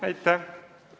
Aitäh!